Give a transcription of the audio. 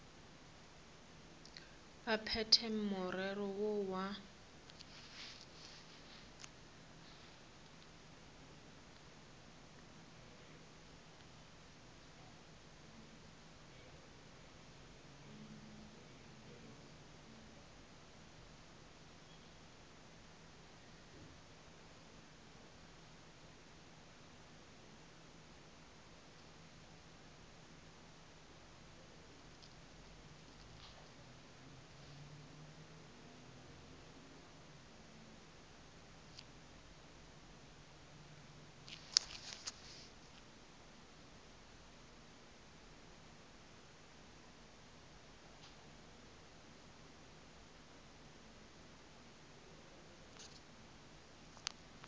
ba phethe morero woo wa